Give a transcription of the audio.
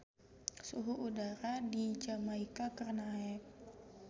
Suhu udara di Jamaika keur naek